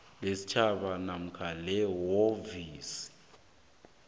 lesitjhaba namkha lephrovinsi